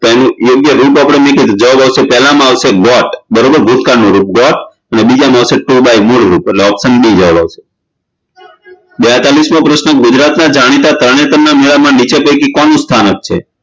તો એનું યોગ્ય રૂપ આપણે મૂક્યું જવાબ આવશે પેલા માં આવશે got ભૂતકાળ નું રૂપ got અને બીજા માં આવશે to buy મૂળરૂપ એટલે option B જવાબ આવશે બેતાળીશમો પ્રશ્ન ગુજરાતનાં જાણીતા તરણેતરના મેળામાં નીચે પૈકી કોનું સ્થાનક છે